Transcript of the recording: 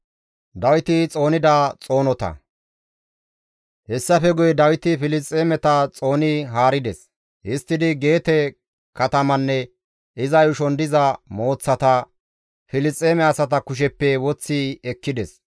Hessafe guye Dawiti Filisxeemeta xooni haarides; histtidi Geete katamanne iza yuushon diza mooththata Filisxeeme asata kusheppe woththi ekkides.